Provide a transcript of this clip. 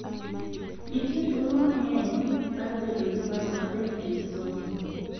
Nitie thuolo mang�eny mar bedo gi paro maber e wi somo